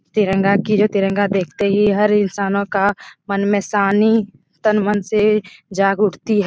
तिरंगा की जो तिरंगा देखते ही हर इंसानों का मन में सानी तन-मन से जाग उठती हैं